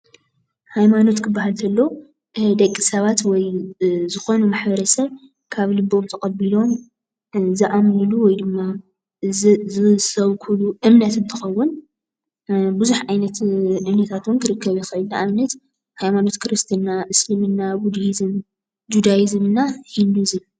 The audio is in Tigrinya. ሃይማኖት ክበሃል እንተሎ ደቂ ሰባት ወይ ዝኽዕኑ ማሕበረሰብ ካብ ልቦም ተቐቢሎም ዝኣምንሉ ወይ ድማ ዝሰብክሉ እምነት እንትኸውን ፤ብዙሕ ዓይነታት እምነት እውን ክርከብ ይክእል እዩ። ንኣብነት፦ ሃይማኖት ክርስትና፣ እስልምና ፣ቡዲሂዝም እና ህንዲሂዝም